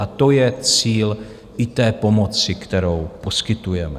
A to je cíl i té pomoci, kterou poskytujeme.